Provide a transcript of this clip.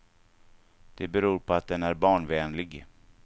Det beror på att den är barnvänlig.